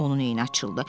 Onun eyini açıldı.